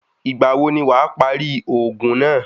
Ìgbà wo ni wàá parí òògùn náà?